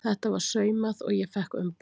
Þetta var saumað og ég fékk umbúðir.